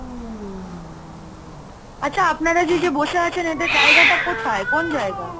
আচ্ছা আপনারা যে, যে বসে আছেন? এটা জায়গাটা কোথায়? কোন জায়গা?